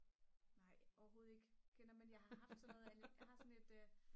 nej overhovedet ikke kender men jeg har haft sådan noget jeg har sådan et